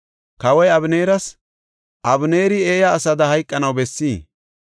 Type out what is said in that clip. Kawoy Abeneeras, “Abeneeri eeya asada hayqanaw bessii?